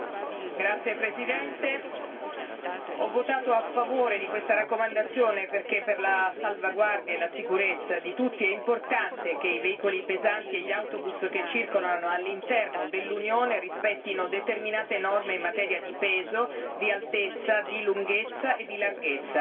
Signora Presidente, onorevoli colleghi, ho votato a favore di questa raccomandazione perché per la salvaguardia e la sicurezza di tutti, è importante che i veicoli pesanti e gli autobus che circolano all'interno dell'Unione rispettino determinate norme in materia di peso, di altezza, di lunghezza e di larghezza.